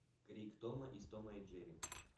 крик тома из тома и джерри